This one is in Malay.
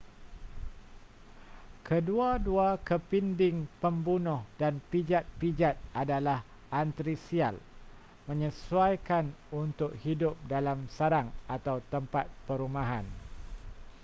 kedua-dua kepinding pembunuh dan pijat-pijat adalah altrisial menyesuaikan untuk hidup dalam sarang atau tempat perumahan